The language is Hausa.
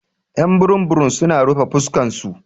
Y'an burum burum su na rufe fuskan su.